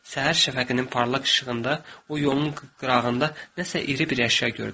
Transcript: Səhər şəfəqinin parlaq işığında o yolun qırağında nəsə iri bir əşya gördü.